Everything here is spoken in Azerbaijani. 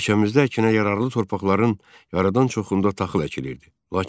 Ölkəmizdə əkinə yararlı torpaqların yaradan çoxunda taxıl əkilirdi.